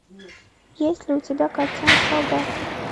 есть ли у тебя картина солдаты